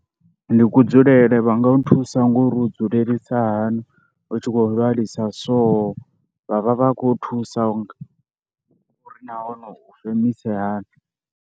Ndi kudzulele, vha nga u thusa ngori u dzulela hani u tshi khou lwala so, vha vha vha khou thusa uri na hone u femise hani.